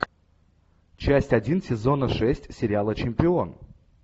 часть один сезона шесть сериала чемпион